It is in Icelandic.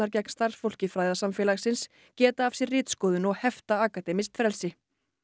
gegn starfsfólki fræðasamfélagsins geta af sér ritskoðun og hefta akademískt frelsi